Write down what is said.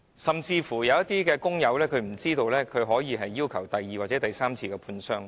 甚至有些工友不知道，他們可要求第二次甚至第三次判傷。